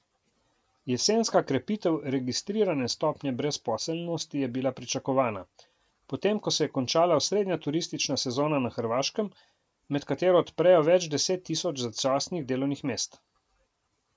Jesenka krepitev registrirane stopnje brezposelnosti je bila pričakovana, potem ko se je končala osrednja turistična sezona na Hrvaškem, med katero odprejo več deset tisoč začasnih delovnih mest.